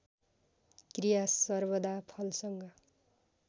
क्रिया सर्वदा फलसँग